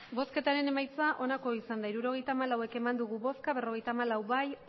emandako botoak hirurogeita hamalau bai berrogeita hamalau ez